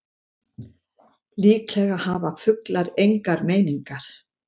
Líklega hafa fuglar engar meiningar.